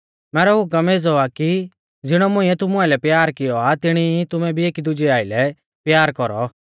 मैरौ हुकम एज़ौ आ कि ज़िणौ मुंइऐ तुमु आइलै प्यार किऔ आ तिणी ई तुमै भी एकी दुजै आइलै प्यार कौरौ